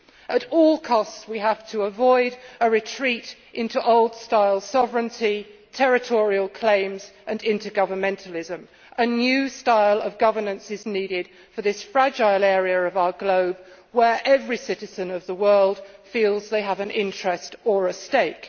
At all costs, we have to avoid a retreat into old style sovereignty, territorial claims and intergovernmentalism. A new style of governance is needed for this fragile area of our globe in which every citizen of the world feels they have an interest or a stake.